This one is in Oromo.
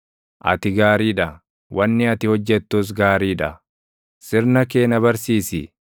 Ati gaarii dha; wanni ati hojjettus gaarii dha; sirna kee na barsiisi.